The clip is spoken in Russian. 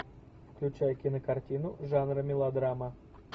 включай кинокартину жанра мелодрама